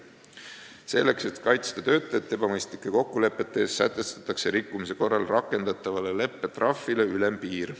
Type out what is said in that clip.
Selleks, et kaitsta töötajat ebamõistlike kokkulepete eest, sätestatakse rikkumise korral rakendatavale leppetrahvile ülempiir.